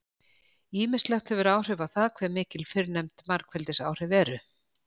Ýmislegt hefur áhrif á það hve mikil fyrrnefnd margfeldisáhrif eru.